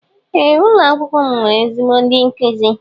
Ee ụlọ akwụkwọ m nwere ezigbo ndi nkuzi.